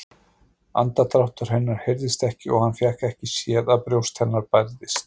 Andardráttur hennar heyrðist ekki og hann fékk ekki séð að brjóst hennar bærðist.